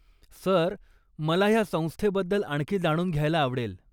Sir मला ह्या संस्थेबद्दल आणखी जाणून घ्यायला आवडेल.